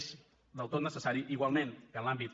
és del tot necessari igualment que en l’àmbit